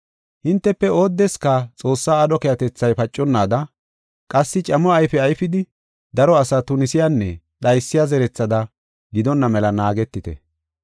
Hintefe oodeska Xoossaa aadho keehatethay paconnaada, qassi camo ayfe ayfidi daro asaa tunisiyanne dhaysiya zerethada gidonna mela naagetite.